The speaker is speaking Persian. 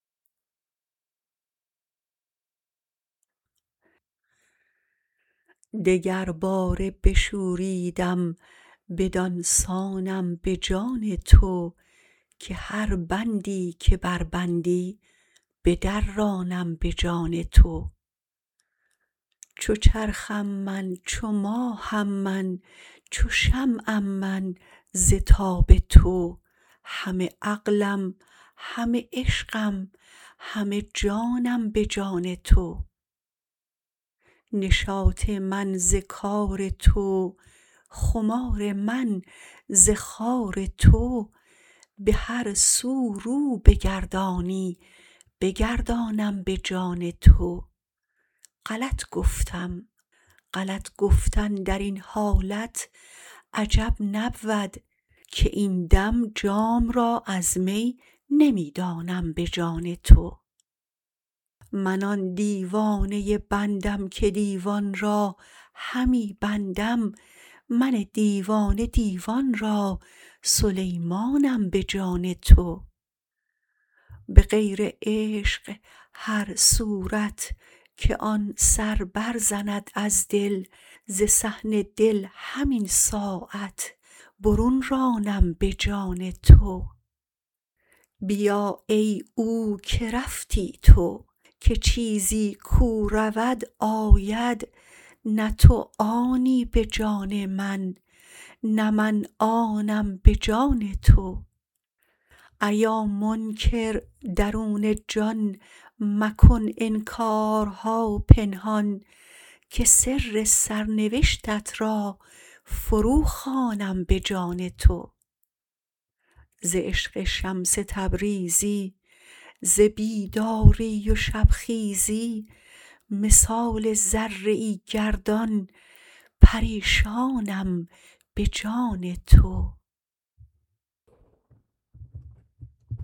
دگرباره بشوریدم بدان سانم به جان تو که هر بندی که بربندی بدرانم به جان تو چو چرخم من چو ماهم من چو شمعم من ز تاب تو همه عقلم همه عشقم همه جانم به جان تو نشاط من ز کار تو خمار من ز خار تو به هر سو رو بگردانی بگردانم به جان تو غلط گفتم غلط گفتن در این حالت عجب نبود که این دم جام را از می نمی دانم به جان تو من آن دیوانه بندم که دیوان را همی بندم من دیوانه دیوان را سلیمانم به جان تو به غیر عشق هر صورت که آن سر برزند از دل ز صحن دل همین ساعت برون رانم به جان تو بیا ای او که رفتی تو که چیزی کو رود آید نه تو آنی به جان من نه من آنم به جان تو ایا منکر درون جان مکن انکارها پنهان که سر سرنوشتت را فروخوانم به جان تو ز عشق شمس تبریزی ز بیداری و شبخیزی مثال ذره ای گردان پریشانم به جان تو